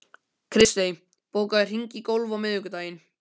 Kristey, bókaðu hring í golf á miðvikudaginn.